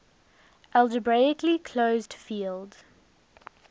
algebraically closed field